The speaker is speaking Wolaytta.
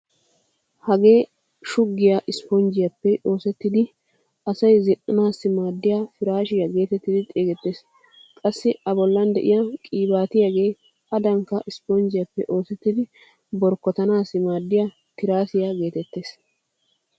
Hagee shuggiya isiponjjiyaappe oosettidi asay zin"anaassi maaddiya piraashiya geetettidi xeesettees. Qassi a bollan de'iyaa qiibaatiyaagee adankka isiponjjiyaappe oosettidi borkkotanaassi maaddiya tiraasiyaa geetettees.